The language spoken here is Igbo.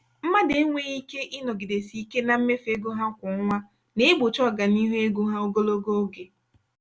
mmadụ enweghị ike ịnọgidesi ike na mmefu ego ha kwa ọnwa na-egbochi ọganihu ego ha ogologo oge.